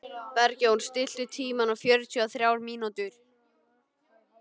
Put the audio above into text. Bergjón, stilltu tímamælinn á fjörutíu og þrjár mínútur.